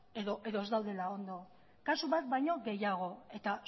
edo ez daudela ondo kasu bat baino gehiago eta